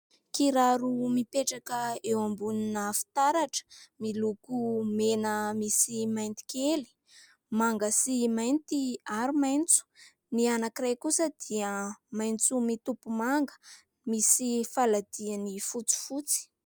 Kiraro mipetraka eo ambonina fitaratra, miloko mena misy mainty kely, manga sy mainty ary maitso. Ny anankiray kosa dia maitso mitopy manga, misy faladihany fotsifotsy.